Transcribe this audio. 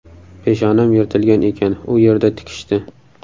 Peshonam yirtilgan ekan, u yerda tikishdi.